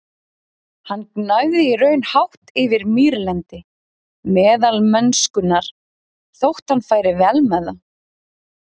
Hann gnæfði í raun hátt yfir mýrlendi meðalmennskunnar, þótt hann færi vel með það.